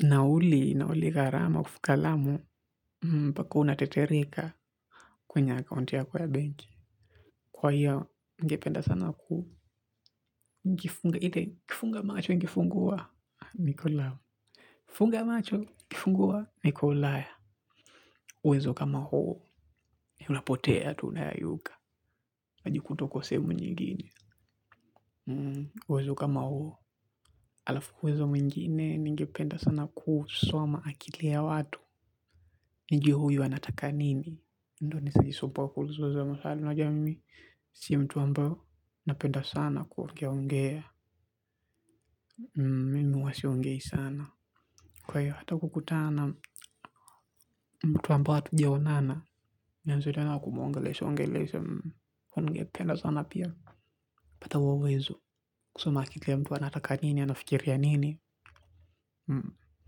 nauli, nauli garama, kufuka lamu, mpaka unatitirika kwenye akaunti yako ya benki. Kwa hiyo, ngependa sana kufunga, ite kifunga macho, ngefunguwa, nikolamu. Funga macho ukifungua niko ulaya. Uwezo kama huo ni unapotea tunayayuka. Aji kuta uko sehemu nyigine. Uwezo kama hoo. Alafu uwezo mwingine njipenda sana kuswama akili ya watu. Njio huyu anataka nini. Ndo nisajisumbuwa kuluzoza masalimu na jua mimi. Sia mtu ambao napenda sana kuongea ongea. Mimi uwa siongei sana. Kwa hiyo hata kukutana mtu ambao watu jiaonana. Mienzo diyo na kumo ngelesho ngelesho ngelesha ngelesha ngependa sana pia. Pata huwo uwezo kusoma akli yamtuwa nataka nini ya na fikir ya nini.